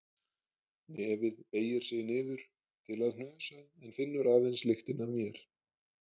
Nefið beygir sig niður til að hnusa en finnur aðeins lyktina af mér.